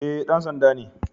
Eh, dan sanda ne